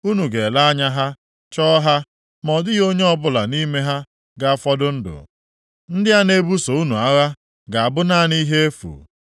Unu ga-ele anya ha, chọọ ha, ma ọ dịghị onye ọbụla nʼime ha ga-afọdụ ndụ. Ndị a na-ebuso unu agha ga-abụ naanị ihe efu.